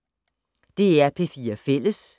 DR P4 Fælles